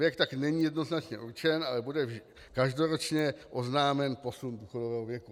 Věk tak není jednoznačně určen, ale bude každoročně oznámen posun důchodového věku.